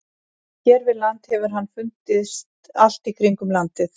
Hér við land hefur hann fundist allt í kringum landið.